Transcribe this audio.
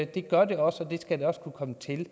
det gør det også og det skal det også kunne komme til